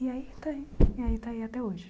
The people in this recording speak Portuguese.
E aí está aí e aí está aí até hoje.